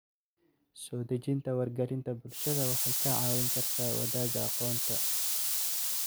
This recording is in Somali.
Soo dhejinta wargelinta bulshada waxay kaa caawin kartaa wadaagga aqoonta.